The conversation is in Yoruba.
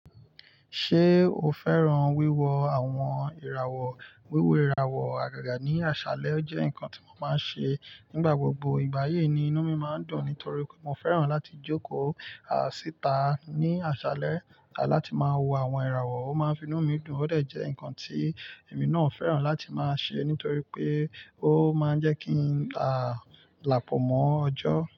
Ṣé o fẹ́ràn wíwo àwọn ìràwọ̀? Wíwo ìràwọ̀ àgàgà ní aṣálẹ́ o jẹ́ nǹkan tí mo máa ń ṣe nígbà gbogbo. Igbà yìí ni inú mi máa ń dùn nítorí pe mo fẹ́ràn láti jókòó si ita ní àsálẹ́ láti máa wo àwọn ìràwọ̀, ó máa ń fi inú mi dùn. Ó dẹ̀ jẹ́ nǹkan tí èmi náà fẹ́ràn láti máa ṣe nítorí pé ó máa ń jẹ́ kí n lápọ̀mọ́ ọjọ́.